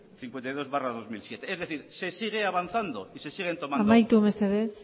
cincuenta y dos barra dos mil siete es decir se sigue avanzando y se siguen tomando amaitu mesedez